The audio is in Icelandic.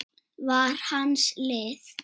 var hans lið.